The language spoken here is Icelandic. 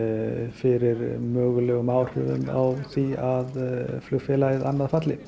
fyrir mögulegum áhrifum á því flugfélagið annað falli